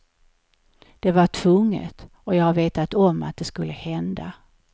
Det var tvunget, och jag har vetat om att det skulle hända.